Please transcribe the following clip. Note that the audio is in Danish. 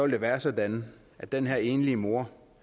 det være sådan at den her enlige mor